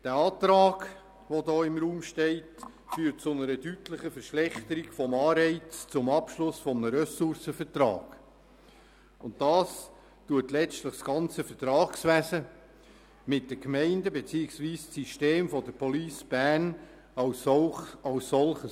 Der vorliegende Antrag führt zu einer deutlichen Verschlechterung des Anreizes zum Abschluss eines Ressourcenvertrags, und das gefährdet letztlich das ganze Vertragswesen mit den Gemeinden beziehungsweise das System der Police Bern als solches.